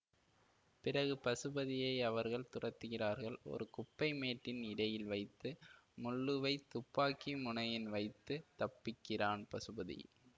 பிறகு பசுபதியை அவர்கள் துரத்துகிறார்கள் ஒரு குப்பை மேட்டின் இடையில் வைத்து முள்ளுவைத் துப்பாக்கி முனையில் வைத்து தப்பிக்கிறான் பசுபதி